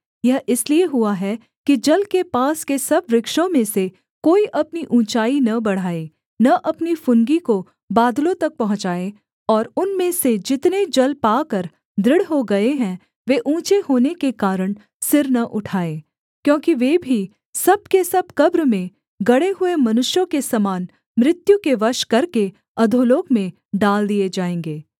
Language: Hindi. यह इसलिए हुआ है कि जल के पास के सब वृक्षों में से कोई अपनी ऊँचाई न बढ़ाए न अपनी फुनगी को बादलों तक पहुँचाए और उनमें से जितने जल पाकर दृढ़ हो गए हैं वे ऊँचे होने के कारण सिर न उठाए क्योंकि वे भी सब के सब कब्र में गड़े हुए मनुष्यों के समान मृत्यु के वश करके अधोलोक में डाल दिए जाएँगे